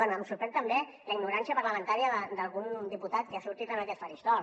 bé em sorprèn també la ignorància parlamentària d’algun diputat que ha sortit en aquest faristol